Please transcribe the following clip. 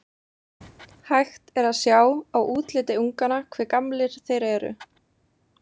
Hægt er að sjá á útliti unganna hve gamlir þeir eru.